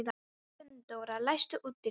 Gunndóra, læstu útidyrunum.